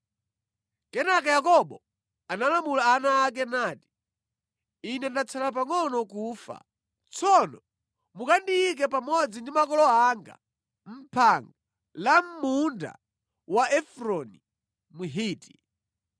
Kenaka Yakobo analamula ana ake nati: “Ine ndatsala pangʼono kufa. Tsono mukandiyike pamodzi ndi makolo anga mʼphanga la mʼmunda wa Efroni Mhiti.